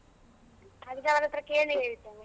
ಹಾಗಿದ್ರೆ ಅವರತ್ರ ಕೇಳಿ ಹೇಳ್ತೇನೆ.